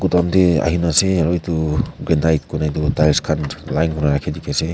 bethor ahena ase aru etu benit kori tu tails khan line te rakhi kina ase.